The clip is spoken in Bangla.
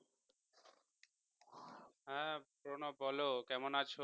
হ্যাঁ Pranab বলো কেমন আছো